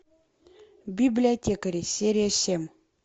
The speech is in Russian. библиотекари серия семь